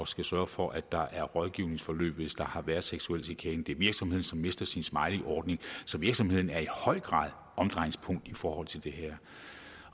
skulle sørge for at der er et rådgivningsforløb hvis der har været seksuel chikane og det er virksomheden som mister sin smileyordning så virksomheden er i høj grad omdrejningspunkt i forhold til det her